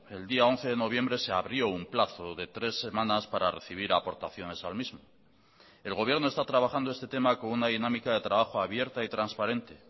el día once de noviembre se abrió un plazo de tres semanas para recibir aportaciones al mismo el gobierno está trabajando este tema con una dinámica de trabajo abierta y transparente